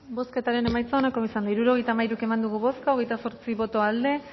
bozketaren emaitza onako izan da hirurogeita hamairu eman dugu bozka hogeita zortzi boto aldekoa